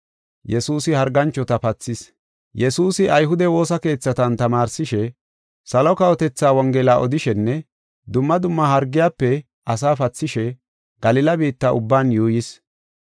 Yesuusi ayhude woosa keethatan tamaarsishe, salo kawotethaa Wongela odishenne dumma dumma hargiyafe asaa pathishe Galila biitta ubban yuuyis.